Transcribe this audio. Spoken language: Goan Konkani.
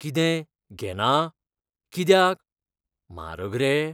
कितें, घेना? कित्याक? म्हारग रे?